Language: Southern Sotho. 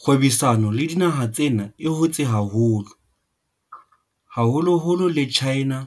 Kgwebisano le dinaha tsena e hotse haholo, haholoholo le China